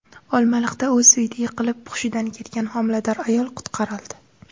Olmaliqda o‘z uyida yiqilib, hushidan ketgan homilador ayol qutqarildi.